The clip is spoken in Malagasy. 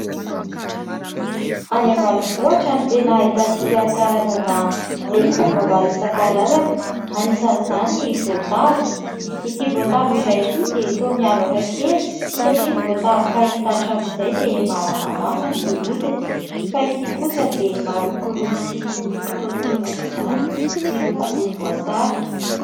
Any ambanivohitra no tena ahitantsika karazana legioma maro isan-karazany. Anisan'izany ny voatavo. Ity voatavo iray ity dia toa miavaka kely satria ny voatavo fahita hatramin'izay dia malamalama ny hodiny fa ity kosa dia marokoroko sy mikitaotaona aoka izany, miloko volomboasary.